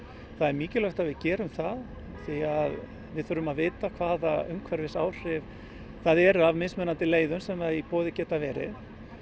það er mikilvægt að við gerum það við þurfum að vita hvaða umhverfisáhrif það eru af mismunandi leiðum sem í boði geta verið